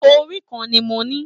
Orí kàn ní mó ní.